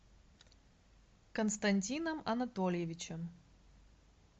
константином анатольевичем